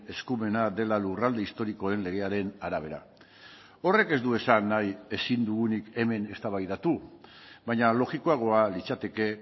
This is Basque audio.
eskumena dela lurralde historikoen legearen arabera horrek ez du esan nahi ezin dugunik hemen eztabaidatu baina logikoagoa litzateke